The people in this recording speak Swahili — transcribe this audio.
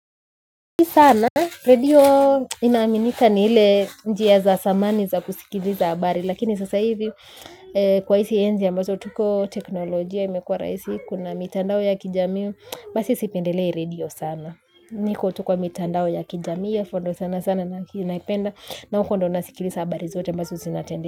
Sana radio inaaminika ni ile njia za zamani za kusikiliza habari. Lakini sasa hizi kwa hizi enzi ambazo tuko teknolojia. Imekua rahisi kuna mitandao ya kijamii. Basi sipendelei radio sana. Niko tu kwa mitandao ya kijamii hapo ndo sana sana naki naipenda. Na huko ndo nasikiliza habari zote. Ambazo zinatendeka.